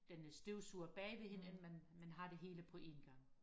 den støvsuger bagved man har det hele på en gang